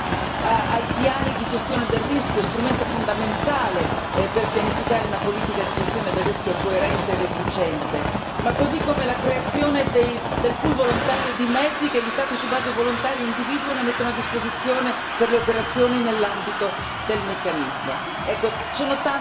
Basti pensare ai piani di gestione del rischio, strumento fondamentale per pianificare una politica di gestione del rischio coerente ed efficiente, così come la creazione del pool volontario di mezzi che gli Stati su base volontaria individuano e mettono a disposizione per le operazioni nell'ambito del meccanismo.